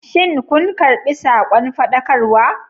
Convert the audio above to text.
Shin kun karɓi sakon faɗakarwa?